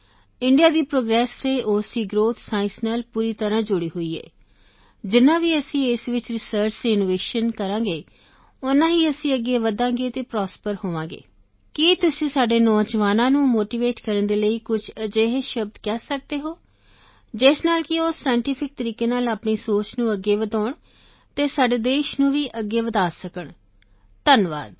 India ਦੀ progress ਅਤੇ ਉਸ ਦੀ ਗ੍ਰੋਥ ਸਾਇੰਸ ਨਾਲ ਪੂਰੀ ਤਰ੍ਹਾਂ ਜੁੜੀ ਹੋਈ ਹੈ ਜਿੰਨਾ ਵੀ ਅਸੀਂ ਇਸ ਵਿੱਚ ਰਿਸਰਚ ਅਤੇ ਇਨੋਵੇਸ਼ਨ ਕਰਾਂਗੇ ਓਨਾ ਹੀ ਅਸੀਂ ਅੱਗੇ ਵਧਾਂਗੇ ਅਤੇ ਪ੍ਰਾਸਪਰ ਹੋਵਾਂਗੇ ਕੀ ਤੁਸੀਂ ਸਾਡੇ ਨੌਜਵਾਨਾਂ ਨੂੰ ਮੋਟੀਵੇਟ ਕਰਨ ਦੇ ਲਈ ਕੁਝ ਅਜਿਹੇ ਸ਼ਬਦ ਕਹਿ ਸਕਦੇ ਹੋ ਜਿਸ ਨਾਲ ਕਿ ਉਹ ਸਾਇੰਟੀਫਿਕ ਤਰੀਕੇ ਨਾਲ ਆਪਣੀ ਸੋਚ ਨੂੰ ਅੱਗੇ ਵਧਾਉਣ ਅਤੇ ਸਾਡੇ ਦੇਸ਼ ਨੂੰ ਵੀ ਅੱਗੇ ਵਧਾ ਸਕਣ ਧੰਨਵਾਦ